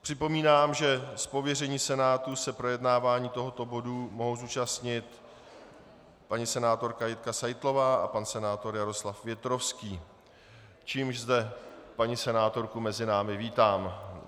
Připomínám, že z pověření Senátu se projednávání tohoto bodu mohou zúčastnit paní senátorka Jitka Seitlová a pan senátor Jaroslav Větrovský, čímž zde paní senátorku mezi námi vítám.